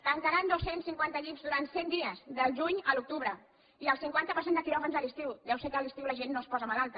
tancaran dos cents i cinquanta llits durant cent dies del juny a l’octubre i el cinquanta per cent de quiròfans a l’estiu deu ser que a l’estiu la gent no es posa malalta